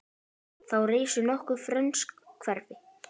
Þá risu nokkur frönsk hverfi.